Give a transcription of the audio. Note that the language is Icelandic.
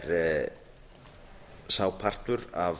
er sá partur af